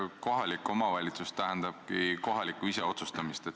Kohalik omavalitsus tähendabki kohalikku iseotsustamist.